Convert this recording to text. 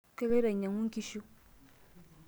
Kaloiti ainyang'u nkishu.